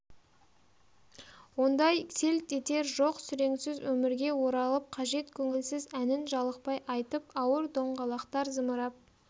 ондай селт етер жоқ сүреңсіз өмірге оралып қажет көңілсіз әнін жалықпай айтып ауыр доңғалақтар зымырап